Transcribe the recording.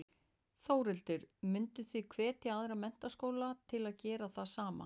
Þórhildur: Mynduð þið hvetja aðra menntaskóla til að gera það sama?